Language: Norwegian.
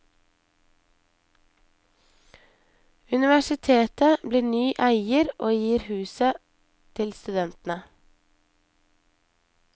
Universitetet blir ny eier og gir huset til studentene.